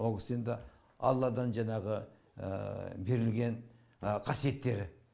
ол кісі енді алладан жаңағы берілген қасиеттері